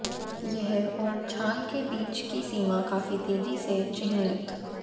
यह और छाल के बीच की सीमा काफी तेजी से चिह्नित